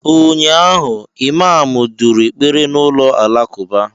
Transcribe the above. Ụnyaahụ, imamu duru ekpere n'ụlọ alakụba.